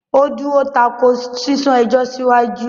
Ó dúró tako “ sísún ẹjọ́ síwájú ”.